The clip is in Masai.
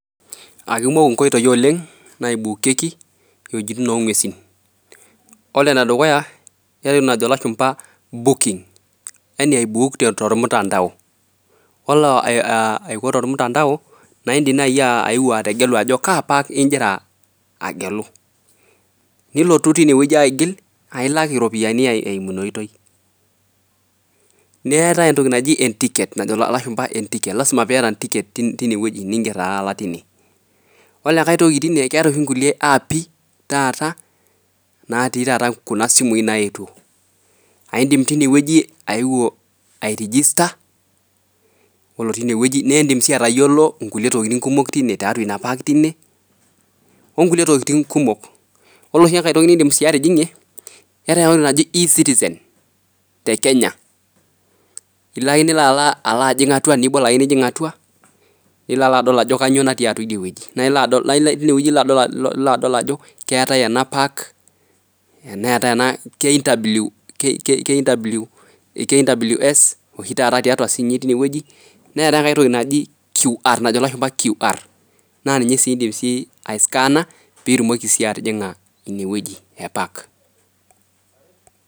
Kaikumok inkoitoi oleng',naaibokieki iwuejitin oo nguesi. Kore ene dukuya, keetai entoki najo ilashumpa booking yani aibuuk tor mtandao kore tor cs(mtandao),naa indim naji ayeu ategelu ajo kaa apa ingira agelu. nilotu tine wueji aigil, aailak iropiyiani eimu ina oitoi. Neetai entoki najo lashumpa ticket. Lzima niata intiketi tine wueji niinger tine. Kore engai toki tine, keetai oshi nkulie apps taata, naati taata Kuna simui nayetuo. aaindim tine wueji ai register kore tine wueji niindim sii atayiolo kulie tokitin kumok tinie, tiatua ina park tini, onkulie tokitin kumok. Koree engai toki niindim sii atijingie, keetai entoki naji eCitizen te Kenya. Ilo ake nilo ajing' atwa, nilo aadol ajo kanyio natii atwa ije wueji. Tine wueji ilo adol ajo keetai ena park, neetai ena KWS tiatua sinye ine wueji. Neetai engai toki najo ilashumba qr,naa ninye sii indim aiskaana pee itumoki sii atijinga ine wueji eeh park